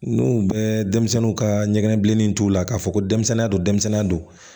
N'u bɛɛ denmisɛnninw ka ɲɛgɛn bilennin t'u la k'a fɔ ko denmisɛnninya don denmisɛnnin don